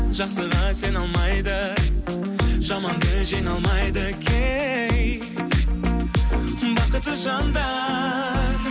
жақсыға сене алмайды жаманды жеңе алмайды кей бақытсыз жандар